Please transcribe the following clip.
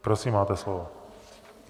Prosím, máte slovo.